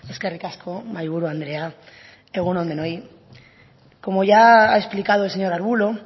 eskerrik asko mahaiburu andrea egun on denoi como ya ha explicado el señor arbulo